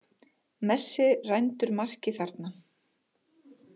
Messi rændur marki þarna.